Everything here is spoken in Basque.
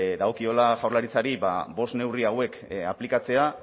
dagokiola jaurlaritzari bost neurri hauek aplikatzea